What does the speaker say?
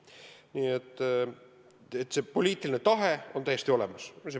Nii et see poliitiline tahe on täiesti olemas.